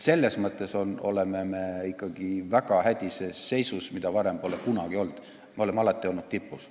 Selles mõttes oleme me ikkagi väga hädises seisus, mida varem pole kunagi olnud, sest me oleme alati olnud tipus.